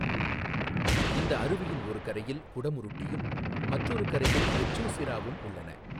இந்த அருவியின் ஒரு கரையில் குடமுருட்டியும் மற்றொரு கரையில் வெச்சூசிராவும் உள்ளன.